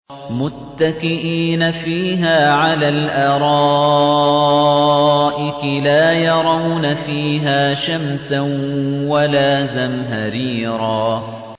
مُّتَّكِئِينَ فِيهَا عَلَى الْأَرَائِكِ ۖ لَا يَرَوْنَ فِيهَا شَمْسًا وَلَا زَمْهَرِيرًا